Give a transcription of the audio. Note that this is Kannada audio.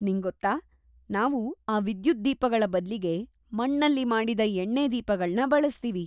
ನಿಂಗೊತ್ತಾ, ನಾವು ಆ ವಿದ್ಯುತ್ ದೀಪಗಳ ಬದ್ಲಿಗೆ ಮಣ್ಣಲ್ಲಿ ಮಾಡಿದ ಎಣ್ಣೆ ದೀಪಗಳ್ನ ಬಳಸ್ತೀವಿ.